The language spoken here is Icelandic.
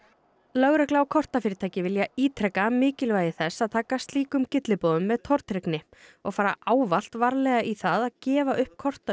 lögregla og kortafyrirtæki vilja ítreka mikilvægi þess að taka slíkum gylliboðum með tortryggni og fara ávallt varlega í það að gefa upp